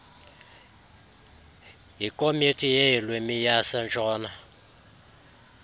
yikomiti yeelwimi yasentshona